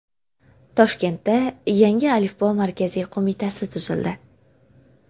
Toshkentda Yangi alifbo markaziy qo‘mitasi tuzildi.